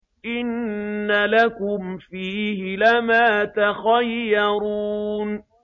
إِنَّ لَكُمْ فِيهِ لَمَا تَخَيَّرُونَ